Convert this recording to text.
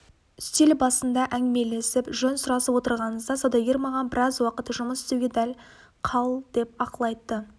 үстел басында әңгімелесіп жөн сұрасып отырғанымызда саудагер маған біраз уақыт жұмыс істеуге қал деп ақыл айтты